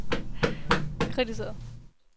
kritiseret